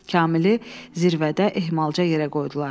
Kamili zirvədə ehmalca yerə qoydular.